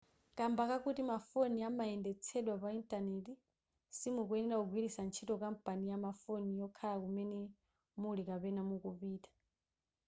kamba kakuti mafoni amayendetsedwa pa intaneti simukuyenera kugwiritsa ntchio kampani ya mafoni yokhala kumene muli kapena mukupita